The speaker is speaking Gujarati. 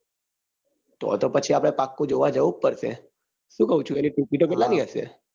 તો તો પછી આપડે પાક્કું જોવા જઉ જ પડશે. શું કઉ છુ ticket કેટલા ની હશે